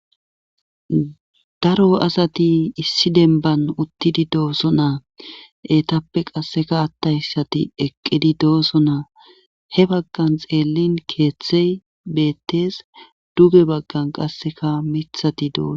Daro asati issi denban uttidi doosona. Etappe qassikka attayssati eqqidi doosona.he baggan xeellin keeththay beettees. Duge baggan qassikka miththati doosonaa.